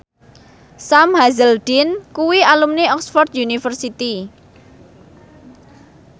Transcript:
Sam Hazeldine kuwi alumni Oxford university